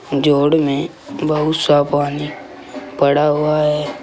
जोड़ में बहुत साफ पानी पड़ा हुआ है।